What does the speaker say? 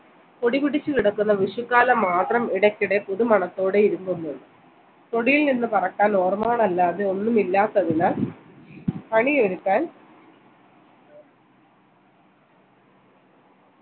പൊടിപൊടിച്ചു കിടക്കുന്ന വിഷുക്കാലം മാത്രം ഇടയ്ക്കിടെ പുതുമണത്തോടെ ഇരിക്കുന്നു തൊടിയിൽ നിന്ന് പറക്കാൻ ഓർമകൾ അല്ലാതെ ഒന്നുമില്ലാത്തതിനാൽ കണി ഒരുക്കാൻ